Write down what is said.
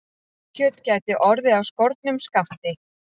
Grillkjöt gæti orðið af skornum skammti